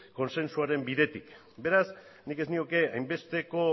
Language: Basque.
kontsentsuaren bidetik beraz nik ez nioke hainbesteko